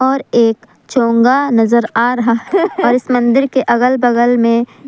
और एक चोंगा नजर आ रहा है और इस मंदिर के अगल बगल में--